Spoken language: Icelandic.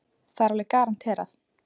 Það er alveg garanterað.